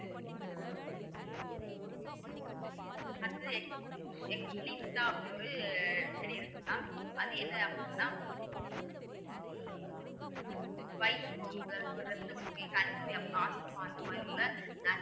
அடுத்து ஒரு செடி இருக்கும் mam அது என்ன அப்படின்னா வயிற்றுப்போக்குகள், இரத்தசோகை, கண் நோய், அப்புறம் asthma அந்த மாதிரி உள்ள